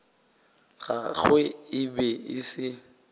gagwe e be e se